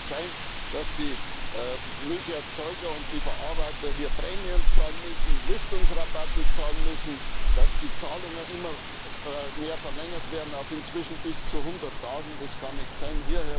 Es kann nicht sein, dass die Milcherzeuger und die Verarbeiter hier Prämien zahlen müssen, Listungsrabatte zahlen müssen, dass die Zahlungen immer mehr verlängert werden auf inzwischen bis zu 100 Tage, das kann nicht sein.